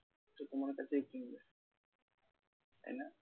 সে তোমার কাছেই কিনবে তাই না?